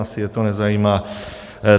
Asi je to nezajímá.